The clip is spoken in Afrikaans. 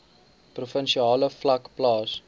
provinsiale vlak plaas